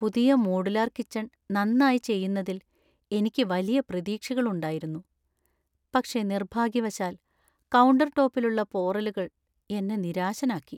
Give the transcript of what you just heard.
പുതിയ modular kitchen നന്നായി ചെയ്യുന്നതിൽ എനിക്ക് വലിയ പ്രതീക്ഷകളുണ്ടായിരുന്നു, പക്ഷേ നിർഭാഗ്യവശാൽ, കൗണ്ടർടോപ്പിലുള്ള പോറലുകൾ എന്നെ നിരാശനാക്കി.